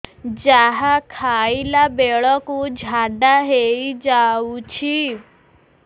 ଯାହା ଖାଇଲା ବେଳକୁ ଝାଡ଼ା ହୋଇ ଯାଉଛି